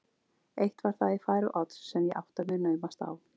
Eitt var það í fari Odds sem ég átta mig naumast á.